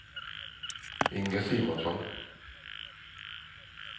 Inger Simonsson